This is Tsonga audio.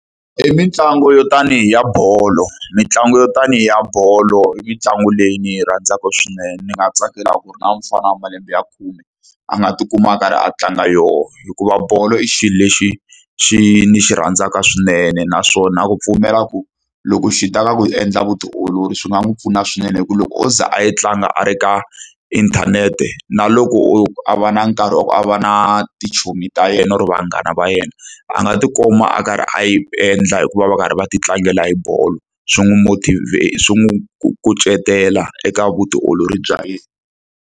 I mitlangu yo tanihi ya bolo. Mitlangu yo tanihi ya bolo, i mitlangu leyi ni yi rhandzaka swinene. Ndzi nga tsakela ku ri na mufana wa malembe ya khume a nga tikuma a karhi a tlanga yona. Hikuva bolo i xilo lexi xi ni xi rhandzaka swinene naswona ni na ku pfumela ku loko swi ta ka ku endla vutiolori swi nga n'wi pfuna swinene. Hikuva loko o ze a yi tlanga a ri ka inthanete, na loko o a va na nkarhi wa ku a va na tichomi ta yena or vanghana va yena, a nga ti kuma a karhi a yi endla hi ku va va karhi va ti tlangela hi bolo. Swi n'wi swi n'wi kucetela eka vutiolori bya yena.